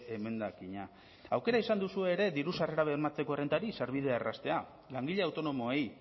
emendakina aukera izan duzue ere diru sarrera bermatzeko errentari sarbidea erraztea langile autonomoei